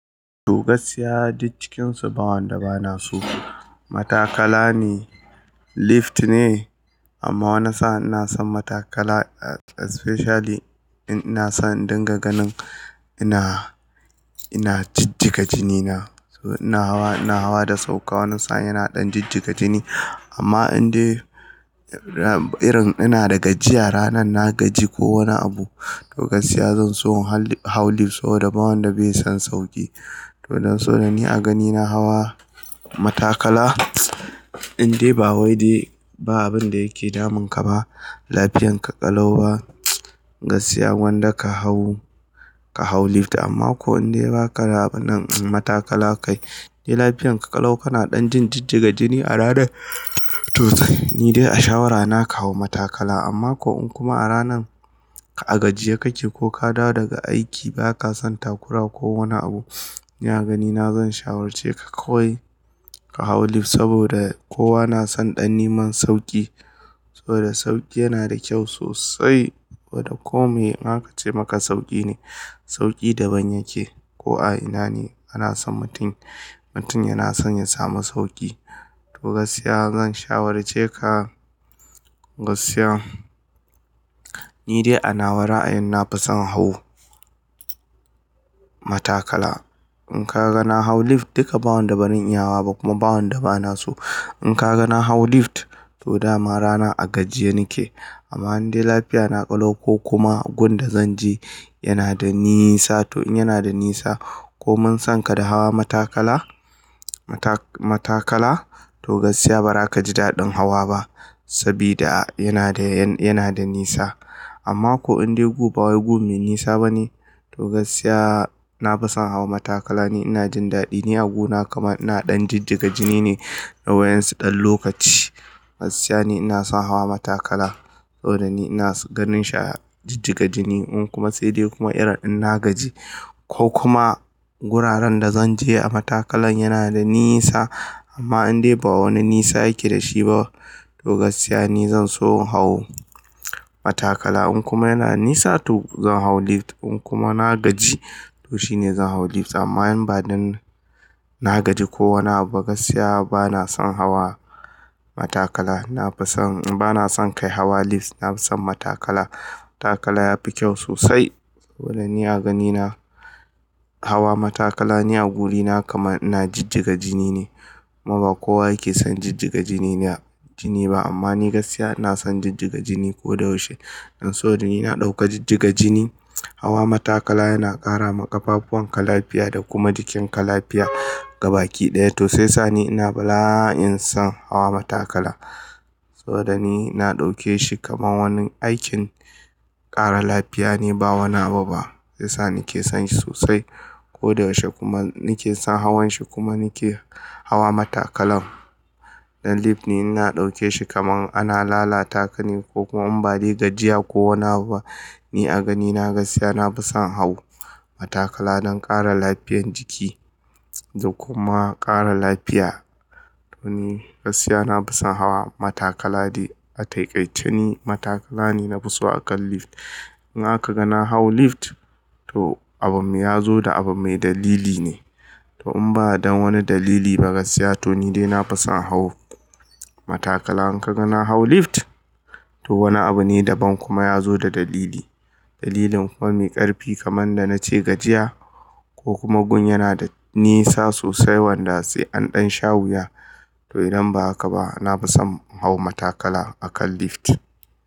To gaskiya duk cikinsu ba wanda bana so. Matakala ne, lift ne amma wanna sa'n ina son matakala especially in ina son dinga ganin ina, ina jijjiga jini na. To ina hawa, ina hawa da sauƙa wanna sa'n yana ɗan jijjiga jini. Amma in dai irin ina da gajiya, rana na gaji ko wani abu to gaskiya zan so hau lift saboda ba wanda bai san sauƙi. To don so da ni a ganina hawa matakala in dai ba wai dai ba abin da yake damun ka ba, lafiyan ka ƙalau ba gaskiya wanda ka hau, ka hau lift amma ko in dai ba ka raba nan matakala kai dai lafiyan ka ƙalau kana ɗan jin jijjiga jini a rana to ni dai a shawara na ka hau matakala. Amma ko in kuma a rana ka gajiya kake ko ka dawo daga aiki ba ka san takura ko wani abu, ni a ganina zan shawarce ka kawai ka hau lift saboda kowa na san ɗan nimar sauƙi. Saboda sauƙi yana da kyau sosai. Wadda ko me aka ce maka sauƙi ne, sauƙi daban yake. Ko a ina ne ana son mutum, mutum yana son ya samu sauƙi. To gaskiya zan shawarce ka gaskiya ni dai a na wa ra'ayin na fi son hawo matakala. In ka ga na hau lift duka ba wanda banin yawwa ba kuma ba wanda bana so. In ka ga na hau lift to dama rana a gajiya nake. Amma in dai lafiya na ƙalau ko kuma gun da zan je yana da nisa to in yana da nisa ko mun san ka da hawa matakala, mata-matakala to gaskiya ba za ka ji daɗin hawa ba sabida yana da, yana da nisa. Amma ko in dai gobe wai gun me nisa bane to gaskiya na fi son hawa matakala ne. Ina jin daɗi ni a gona kama ina ɗan jijjiga jini ne a wayan su ɗan lokaci. Gaskiya ni ina son hawa matakala saboda ni ina ganin sha jijjiga jini in kuma tsiri kuma irin ina gaji ko kuma wuraren da zan je a matakalan yana da nisa amma in dai ba wani nisa yake da shi ba to gaskiya ni zan so hawo matakala. In kuma yana nisa to zan hau lift. In kuma na gaji to shine zan hau lift. Amma in ba dan na gaji ko wani abu ba gaskiya bana son hawa matakala. Na fi son, bana son kai hawa lift. Na fi son matakala. Matakala yafi kyau sosai saboda ni a ganina hawa matakala ni a wurina kama ina jijjiga jini ne. Amma ba kowa yake son jijjiga jini na jini ba amma ni gaskiya na son jijjiga jini ko da yaushe. Don so da ni na ɗauka jijjiga jini, hawa matakala yana ƙara ma ƙafafuwan ka lafiya da kuma jikin ka lafiya gabaki ɗaya. To sai sa ni ina bala'in son hawa matakala. Saboda ni na ɗauke shi kaman wani aikin ƙara lafiya ne ba wani abu ba. Sai sa ni ke son shi sosai ko da yaushe kuma ni ke son hawan shi kuma ni ke hawa matakalan. Dan lift ni ina ɗauke shi kaman ana lalata ka ne ko kuma in bari gajiya ko wane abu. Ni a ganina gaskiya na fi son hau matakala don ƙara lafiyan jiki da kuma ƙara lafiya. To ni gaskiya na fi son hawa matakala dai a taƙaitani matakala ne na fi so akan lift. In aka ga na hau lift to abu ya zo da abu mai dalili ne. To in ba don wani dalili ba gaskiya to ni dai na fi son hawo matakala. In ka ga na hau lift to wani abu ne daban kuma ya zo da dalili. Dalilin kuma mai ƙarfi kaman da na ce gajiya ko kuma gun yana da nisa sosai wanda sai an ɗan sha wuya. To idan ba haka ba na fi son hawo matakala akan lift.